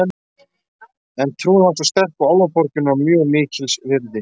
En trúin var svo sterk og Álfaborgin var mjög mikils virði.